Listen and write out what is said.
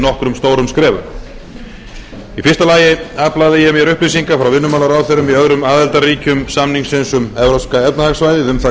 nokkrum stórum skrefum í fyrsta lagi aflaði ég mér upplýsinga frá vinnumálaráðherrum í öðrum aðildarríkjum samningsins um evrópska efnahagssvæðið um það